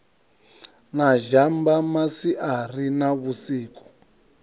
na zhamba masiari na vhusiku